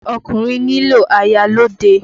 Ọkùnrin nílò aya lọ́ọ̀dẹ̀.